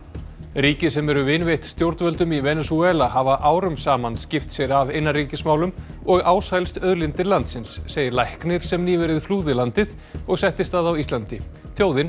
ríki sem eru vinveitt stjórnvöldum í Venesúela hafa árum saman skipt sér af innanríkismálum og ásælst auðlindir landsins segir læknir sem nýverið flúði landið og settist að á Íslandi þjóðin